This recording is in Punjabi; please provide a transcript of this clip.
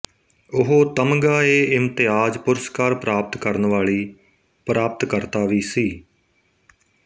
ਉਹ ਤਮਗਾਏਇਮਤਿਆਜ਼ ਪੁਰਸਕਾਰ ਪ੍ਰਾਪਤ ਕਰਨ ਵਾਲੀ ਪ੍ਰਾਪਤਕਰਤਾ ਵੀ ਸੀ